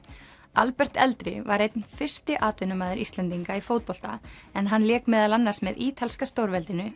Albert eldri var einn fyrsti atvinnumaður Íslendinga í fótbolta en hann lék meðal annars með ítalska stórveldinu